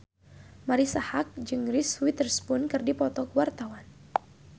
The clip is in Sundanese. Marisa Haque jeung Reese Witherspoon keur dipoto ku wartawan